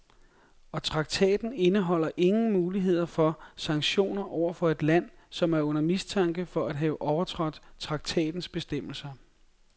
Og traktaten indeholder ingen muligheder for sanktioner over for et land, som er under mistanke for at have overtrådt traktatens bestemmelser.